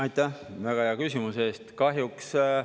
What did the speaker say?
Aitäh väga hea küsimuse eest!